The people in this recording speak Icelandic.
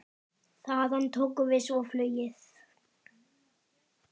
Þaðan tókum við svo flugið.